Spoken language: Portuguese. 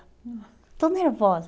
hum, Estou nervosa.